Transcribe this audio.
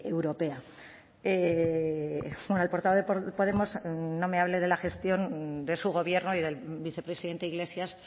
europea el portavoz de podemos no me hable de la gestión de su gobierno y del vicepresidente iglesias